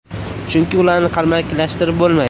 Chunki ularni qalbakilashtirib bo‘lmaydi.